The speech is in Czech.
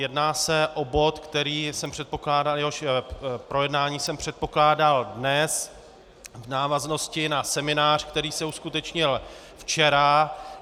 Jedná se o bod, který jsem předpokládal, jehož projednání jsem předpokládal dnes, v návaznosti na seminář, který se uskutečnil včera.